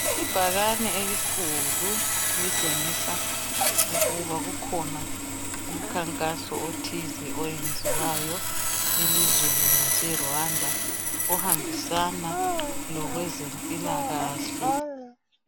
Ibhakane elikhulu litshengisa ukuba kukhona umkhankaso othize owenziwayo elizweni lase Rwanda okuhambisana lokwezempilakahle.